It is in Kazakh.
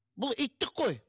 бұл иттік қой